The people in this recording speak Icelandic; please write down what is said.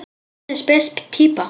Hvernig spes týpa?